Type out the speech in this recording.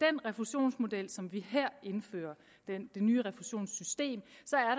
refusionsmodel som vi her indfører det nye refusionssystem